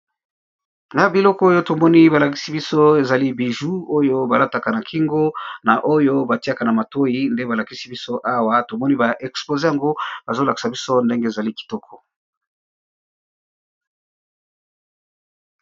Na biloko oyo tomoni ba lakisi biso ezali bijou oyo ba lataka na kingo na oyo batiaka na matoyi, nde ba lakisi biso awa tomoni ba expose yango bazo lakisa biso ndenge ezali kitoko.